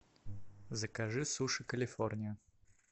закажи суши калифорния